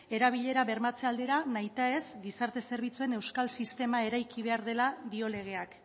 erabilera bermatze aldera nahitaez gizarte zerbitzuen euskal sistema eraiki behar dela dio legeak